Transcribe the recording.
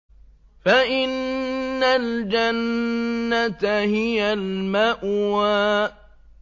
فَإِنَّ الْجَنَّةَ هِيَ الْمَأْوَىٰ